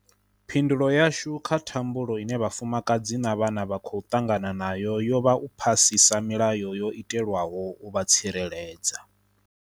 Phindulo yashu kha thambulo ine vhafumakadzi na vhana vha khou ṱangana nayo yo vha u phasisa milayo yo itelwaho u vha tsireledza.